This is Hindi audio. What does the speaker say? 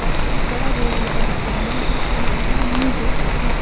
और एक बड़ा बोर्ड लगा है सामने जिस पर लिखा है म्यूजिक मस--